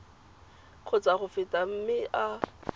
kgotsa go feta mme a